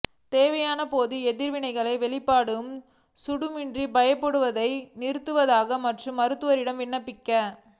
தேவையான போது எதிர்விளைவுகளை வெளிப்பாடு குளுடாமிக் பயன்படுத்துவதை நிறுத்துவதாக மற்றும் மருத்துவரிடம் விண்ணப்பிக்க